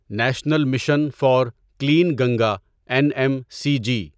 national mission for clean Ganga N M C G